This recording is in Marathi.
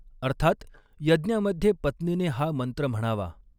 अर्थात यज्ञामध्ये पत्नीने हा मंत्र म्हणावा.